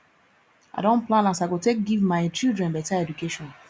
i don plan as i go take give my children beta education